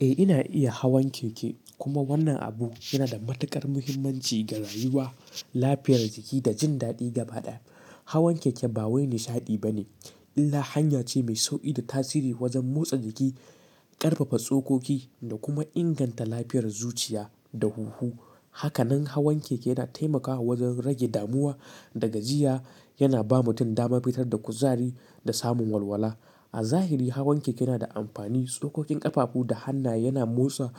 Eh, ina iya hawan keke kuma wannan abu yana da matuƙar muhimmanci ga rayuwa, lafiyar jiki da jin daɗi gaba ɗaya. Hawan keke ba wani nishaɗi bane, illa hanya ce mai sauƙi da tasiri wajen motsa jiki, ƙarfafa tsokoki da kuma inganta lafiyar zuciya da huhu. Hakanan hawan keke yana taimakawa wajen rage damuwa da gajiya. Yana ba mutum dama fitar da kuzari da samun walwala. A zahiri hawan keke yana da amfani, tsokokin ƙafafu da hannaye. Yana motsa